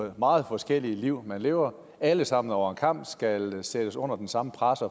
de meget forskellige liv man lever alle sammen over en kam skal sættes under den samme presse